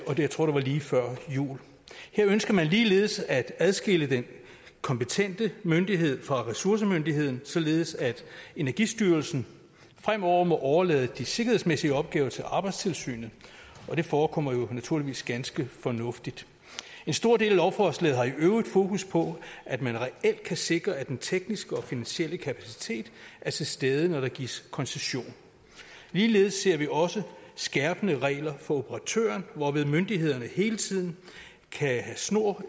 jeg tror det var lige før jul her ønsker man ligeledes at adskille den kompetente myndighed fra ressourcemyndigheden således at energistyrelsen fremover må overlade de sikkerhedsmæssige opgaver til arbejdstilsynet og det forekommer jo naturligvis ganske fornuftigt en stor del af lovforslaget har i øvrigt fokus på at man reelt kan sikre at den tekniske og finansielle kapacitet er til stede når der gives koncession ligeledes ser vi også skærpende regler for operatøren hvorved myndighederne hele tiden kan have snor